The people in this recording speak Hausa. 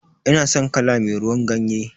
Ina san kala me ruwan ganye.